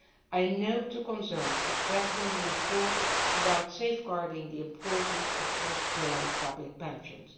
I note the concerns expressed in the report about safeguarding the importance of first pillar public pensions.